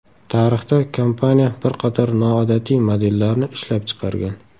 Tarixda kompaniya bir qator noodatiy modellarni ishlab chiqargan.